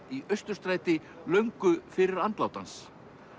í Austurstræti löngu fyrir andlát hans